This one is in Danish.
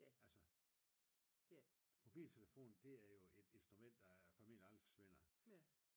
Altså mobiltelefonen det er jo et instrument der formenligt aldrig forsvinder